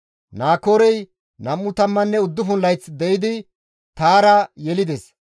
Naakoorey 29 layth de7idi Taara yelides.